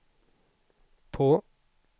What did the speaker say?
på